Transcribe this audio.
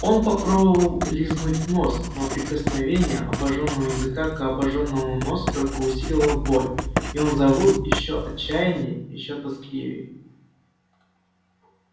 он попробовал лизнуть нос но прикосновение обожжённого языка к обожжённому носу только усилило боль и он завыл ещё отчаянней ещё тоскливей